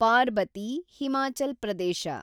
Parbati , Himachal Pradesh